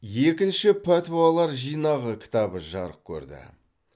екінші пәтуалар жинағы кітабы жарық көрді